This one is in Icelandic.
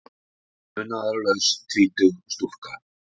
Munaðarlaus tvítug stúlka.